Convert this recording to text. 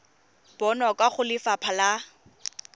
bonwa kwa go lefapha la